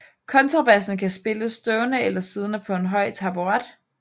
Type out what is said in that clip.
Kontrabassen kan spilles stående eller siddende på en høj taburet